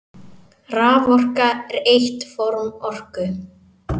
Raforka er eitt form orku.